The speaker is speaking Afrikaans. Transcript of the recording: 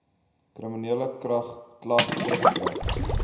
kriminele klag teruggetrek